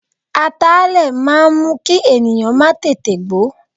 Ataalẹ̀ máa ń mú kí ènìyàn má tètè gbó.